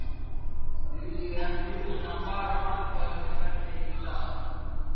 Lillý: Ertu búinn að fara margar ferðir í dag?